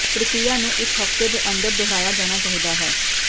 ਪ੍ਰਕਿਰਿਆ ਨੂੰ ਇੱਕ ਹਫ਼ਤੇ ਦੇ ਅੰਦਰ ਦੁਹਰਾਇਆ ਜਾਣਾ ਚਾਹੀਦਾ ਹੈ